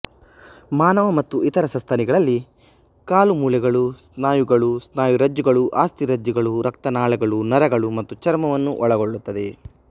ಮಾನವ ಮತ್ತು ಇತರ ಸಸ್ತನಿಗಳಲ್ಲಿ ಕಾಲು ಮೂಳೆಗಳು ಸ್ನಾಯುಗಳು ಸ್ನಾಯುರಜ್ಜುಗಳು ಅಸ್ಥಿರಜ್ಜುಗಳು ರಕ್ತನಾಳಗಳು ನರಗಳು ಮತ್ತು ಚರ್ಮವನ್ನು ಒಳಗೊಳ್ಳುತ್ತದೆ